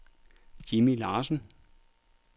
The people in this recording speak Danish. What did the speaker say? Jimmi Larsen